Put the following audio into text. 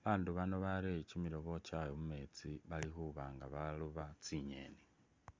babaandu bano barere kimirobo kyabwe mumeetsi bali khuba nga baroba tsingeeni.